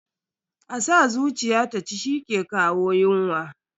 A sa zuciya ta ci shi ke kawo yunwa.